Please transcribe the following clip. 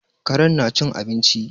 Karen na cin abinci